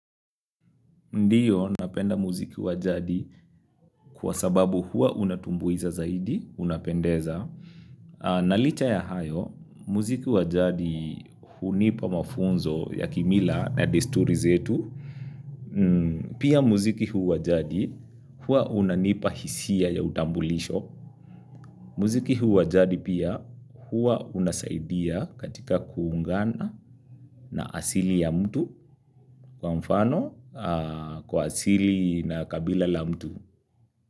Ndiyo, napenda muziki wa jadi, kwa sababu huwa unatumbuiza zaidi, unapendeza. Na licha ya hayo, muziki wa jadi hunipa mafunzo ya kimila na desturi zetu. Pia muziki huu wa jadi huwa unanipa hisia ya utambulisho. Muziki huu wa jadi pia, huwa unasaidia katika kuungana na asili ya mtu, kwa mfano kwa asili na kabila la mtu.